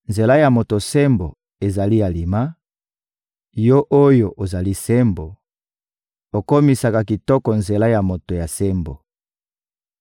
Nzela ya moto ya sembo, ezali alima; Yo oyo ozali Sembo, okomisaka kitoko nzela ya moto ya sembo.